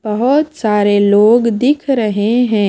बहुत सारे लोग दिख रहे हैं।